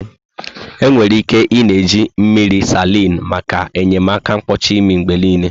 Enwere ike ị-na eji mmiri salin maka enyemaka mkpọchị imi mgbe niile.